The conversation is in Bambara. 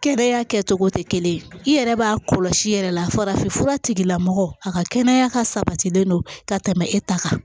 Kɛnɛya kɛcogo tɛ kelen ye i yɛrɛ b'a kɔlɔsi yɛrɛ la farafinfura tigilamɔgɔ a ka kɛnɛya ka sabatilen don ka tɛmɛ e ta kan